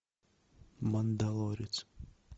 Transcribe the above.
мандалорец